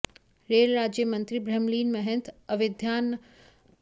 rail राज्य मंत्री ब्रह्मलीन महंत अवेद्यनाथ की समाधि स्थल पर भी गए